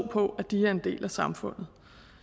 på at de er en del af samfundet